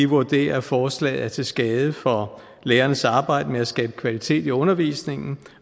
vurderer at forslaget er til skade for lærernes arbejde med at skabe kvalitet i undervisningen